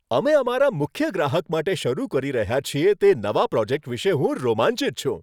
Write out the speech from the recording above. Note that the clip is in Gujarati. અમે અમારા મુખ્ય ગ્રાહક માટે શરૂ કરી રહ્યા છીએ તે નવા પ્રોજેક્ટ વિશે હું રોમાંચિત છું.